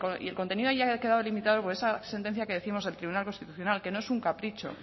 y el contenido haya quedado limitado por esa sentencia que décimos del tribunal constitucional que no es un capricho